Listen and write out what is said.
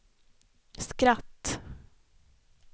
skratt